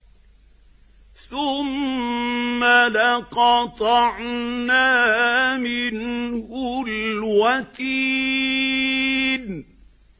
ثُمَّ لَقَطَعْنَا مِنْهُ الْوَتِينَ